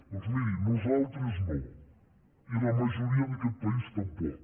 doncs miri nosaltres no i la majoria d’aquest país tampoc